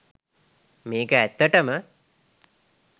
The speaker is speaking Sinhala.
මේ‍ක‍ ඇ‍ත්‍ත‍ට‍ම